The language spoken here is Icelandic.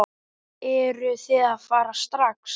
Eruð þið að fara strax?